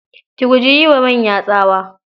Ki guji yi wa manya tsawa.